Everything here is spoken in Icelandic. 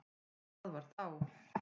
Það var þá